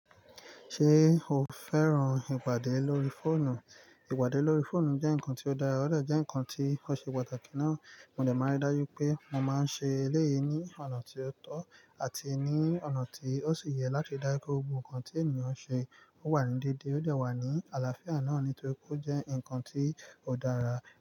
Ṣé o fẹ́ràn ìpàdé lórí fóònù? Ìpàdé lórí fóònù jẹ́ nǹkan tí ó dára, ó dà jẹ́ nǹkan tí ó ṣe pàtàkì náà. Mo dà máa rí dájú pé mo máa ń ṣe eléyìí ní ọ̀nà tí ó tọ́ àti ní ọ̀nà tí ó sì yẹ láti dá kí ohun kan tí ènìyàn ṣe ó wà ní dédé, ó dà wà ní àlàáfíà náà nítorí kó jẹ́ nǹkan tí ó dára.